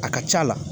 A ka c'a la